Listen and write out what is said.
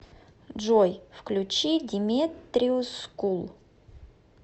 джой включи деметриус скул